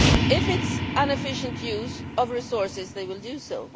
If it is an efficient use of resources, they will do so.